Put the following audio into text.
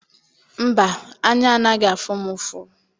Mba, anya anaghị afụ m ụfụ.